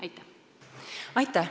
Aitäh!